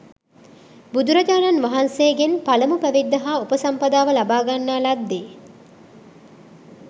බුදුරජාණන් වහන්සේගෙන් පළමු පැවිද්ද හා උපසම්පදාව ලබාගන්නා ලද්දේ